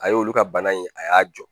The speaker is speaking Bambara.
A y'olu ka bana in a y'a jɔ